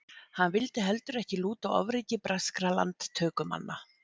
Hann vildi heldur ekki lúta ofríki breskra landtökumanna.